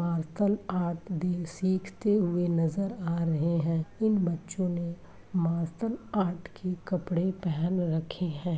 Martial arts सीखते हुए नजर आ रहे हैं। इन बच्चों ने मार्शल आर्ट् की कपड़े पहन रखे हैं।